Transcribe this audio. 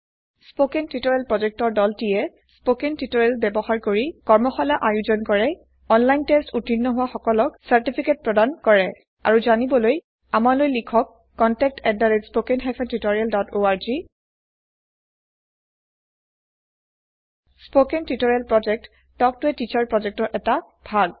spoken tutorial project দলটিয়ে spoken tutorial ব্যৱহাৰ কৰি ৱৰ্কছপ আয়োজন কৰে অনলাইন টেচ্ট উত্তীৰ্ণ কৰা সকলক চাৰ্টিফিকেট দিয়ে আৰু জানিবলৈ আমালৈ লিখক contactspoken tutorialorg spoken tutorial project talk to a teacher প্ৰজেক্টৰ এটা ভাগ